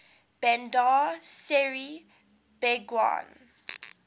bandar seri begawan